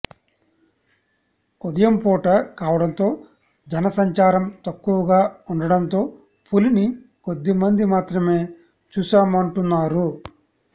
ఉదయం పూట కావడంతో జనసంచారం తక్కువగా ఉండడంతో పులిని కొద్దిమంది మాత్రమే చూశామంటున్నారు